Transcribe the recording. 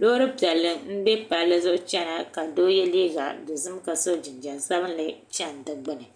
loori piɛlli n bɛ palli zuɣu chɛna ka doo yɛ liiga dozim ka so jinjɛm sabinli chɛni di gbuni